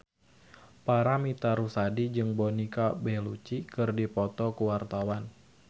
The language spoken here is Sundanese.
Paramitha Rusady jeung Monica Belluci keur dipoto ku wartawan